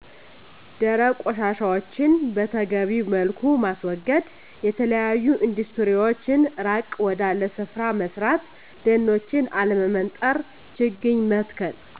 ደረቅ ቆሻሻዎችን በተገቢዉ መልኩ ማስወገድ፣ የተለያዮ ኢንዱስትሪዎችን ራቅ ወዳለ ስፍራ መስራት ደኖችን አለመመንጠር፣ ችግኝ መትከል